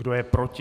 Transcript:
Kdo je proti?